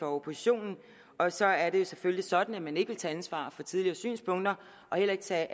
oppositionen og så er det selvfølgelig sådan at man ikke vil tage ansvar for tidligere synspunkter og heller ikke tage